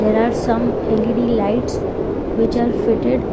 There are some L_E_D lights which are fitted